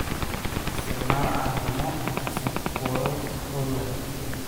Isticmaal caleemo cusub buulal buul leh.